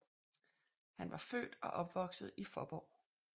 Han var født og opvokset i Fåborg